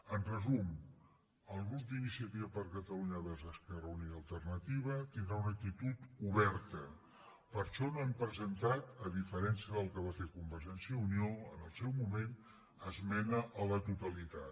en resum el grup d’iniciativa per catalunya verds esquerra unida i alternativa tindrà una actitud oberta per això no hem presentat a diferència del que va fer convergència i unió en el seu moment esmena a la totalitat